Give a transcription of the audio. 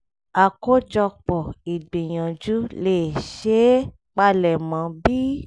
àkójọpọ̀ ìgbìyànjú lè ṣeé palẹ̀mọ́ bí i: